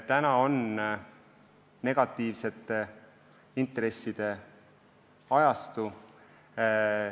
Praegu on negatiivsete intresside ajastu.